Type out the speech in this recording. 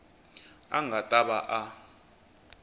a nga ta va a